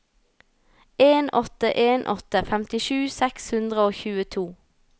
en åtte en åtte femtisju seks hundre og tjueto